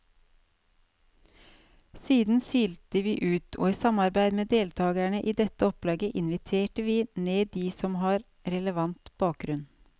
Siden silte vi ut, og i samarbeid med deltagerne i dette opplegget inviterte vi ned de som har relevant bakgrunn.